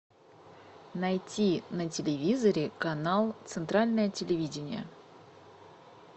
найти на телевизоре канал центральное телевидение